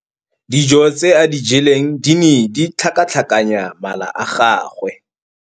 Dijô tse a di jeleng di ne di tlhakatlhakanya mala a gagwe.